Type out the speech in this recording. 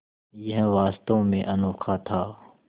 यह वास्तव में अनोखा था